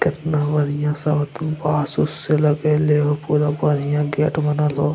केतना बढ़िया साथ में बांस उस से लगएले हउ पूरा बढ़िया गेट बनल हउ।